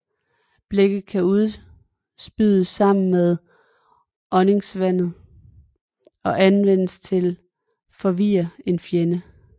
Blækket kan udspyes sammen med åndingsvandet og anvendes til at forvirre en fjende